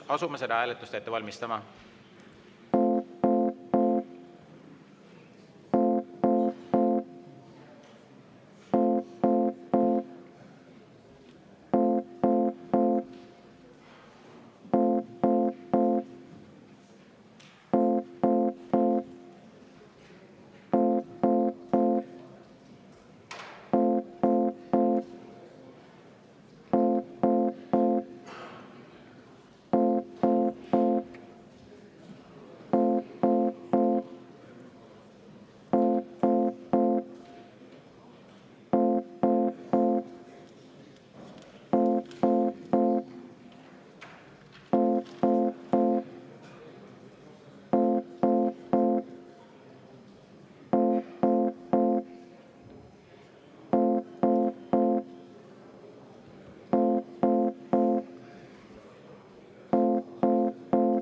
Asume seda hääletust ette valmistama.